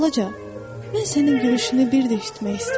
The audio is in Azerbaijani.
Balaca, mən sənin gülüşünü bir də eşitmək istəyirəm.